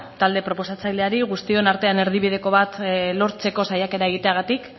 talde proposatzaileari guztion artean erdibideko bat lortzeko saiakera egiteagatik